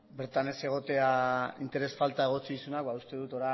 bertan ez egotea interes falta egotzi dizunak ba uste dut